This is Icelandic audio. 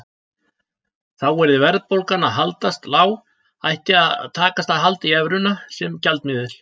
Þá yrði verðbólgan að haldast lág ætti að takast að halda í evruna sem gjaldmiðil.